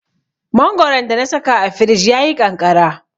Mangoron da na saka a firij ya yi ƙanƙara.